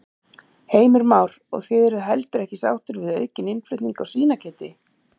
Heimir Már: Og þið eruð heldur ekki sáttir við aukinn innflutning á svínakjöti?